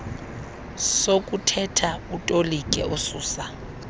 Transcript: sokuthetha utolike ususa